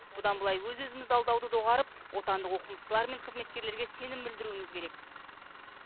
бұдан былай өз өзімізді алдауды доғарып отандық оқымыстылар мен қызметкерлерге сенім білдіруіміз керек